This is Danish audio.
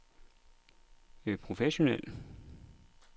professionel